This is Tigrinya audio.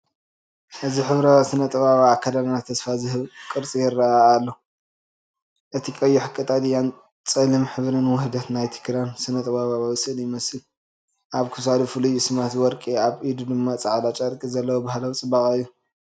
እዚ ሕብራዊ ስነ-ጥበባዊ ኣከዳድና ተስፋ ዝህብ ቅርጺ ይረአ ኣሎ ኣሎ። እቲ ቀይሕን ቀጠልያን ጸሊምን ሕብሪ ውህደት ናይቲ ክዳን ስነ-ጥበባዊ ስእሊ ይመስል። ኣብ ክሳዱ ፍሉይ ስልማት ወርቂ ኣብ ኢዱ ድማ ጻዕዳ ጨርቂ ዘለዎ ባህላዊ ጽባቐ እዩ።